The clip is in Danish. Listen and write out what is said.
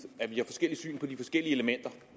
at vi har forskelligt syn på de forskellige elementer